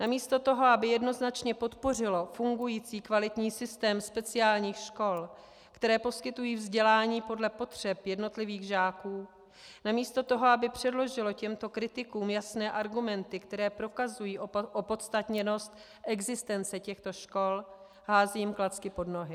Namísto toho, aby jednoznačně podpořilo fungující kvalitní systém speciálních škol, které poskytují vzdělání podle potřeb jednotlivých žáků, namísto toho, aby předložilo těmto kritikům jasné argumenty, které prokazují opodstatněnost existence těchto škol, hází jim klacky pod nohy.